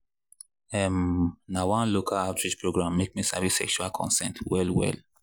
um na one local outreach program make me sabi sexual consent well well